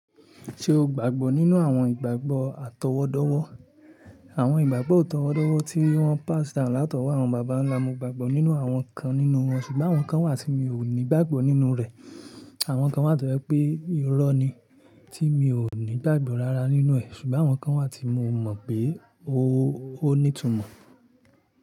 Ṣé o gbàgbọ́ nínú àwọn ìgbàgbọ́ àtọwọ́dọ́wọ́? Àwọn ìgbàgbọ́ àtọwọ́dọ́wọ́ tí wọ́n pass down látọwọ́ àwọn bàbá ńlá, mo gbàgbọ́ nínú àwọn kan nínú wọn ṣùgbọ́n àwọn kan wà tí mi ò ní gbàgbọ́ nínú rẹ̀. Àwọn kan wà tó jẹ́ pé irọ́ ni tí mi ò ní gbàgbọ́ rara nínú ẹ̀, ṣùgbọ́n àwọn kan wà tí mo mọ̀ pé ó ní ìtumọ̀.